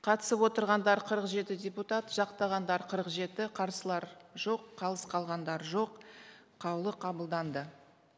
қатысып отырғандар қырық жеті депутат жақтағандар қырық жеті қарсылар жоқ қалыс қалғандар жоқ қаулы қабылданды